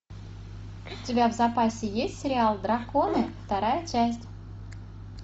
у тебя в запасе есть сериал драконы вторая часть